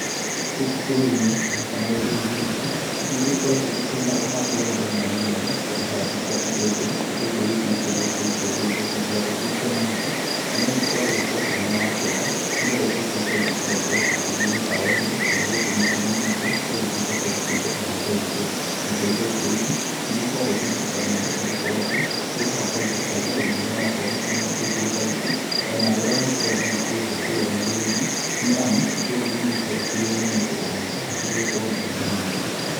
Gũkũ bũrũri-inĩ na kana rũrĩri-inĩ rwitũ, nĩ gũkoretwo gũkĩrĩ na ũhandi wa indo mwanya mwanya, ta ihandi cia itũngũrũ, itũngũrũ ici nacio nĩ gũkĩrĩ itũngũrũ iria cigĩkoragwo cirĩ cia mahuti, na no igĩkoragwo ngwacĩ mwena wa kĩanda, nĩgetha itũngũrũ ta icio cigakorwo cigĩthiĩ mĩkawa-inĩ, kana gũkũ mĩciĩ-inĩ itũ, igagĩtuĩka cia gũkĩruga irio ta icio. Nacio itũngũrũ ici nĩigĩkoragwo ciĩna bata mũno, nĩ gũkorwo atĩ, nĩcikĩrehaga bainda harĩ arĩmi arĩa marakorwo makĩrĩma itũngũrũ ta ici, ona andũ arĩa makoragwo magĩkĩendia kũrĩa mĩarĩro-inĩ, nĩ amu itũngũrũ nĩigĩkoragwo ikĩrĩo nĩ o mũndũ o mũndũ na cio igagĩkorwo na bainda mũno.